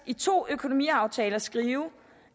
i to økonomiaftaler skrive